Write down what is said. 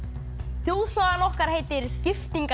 þjóðsagan okkar heitir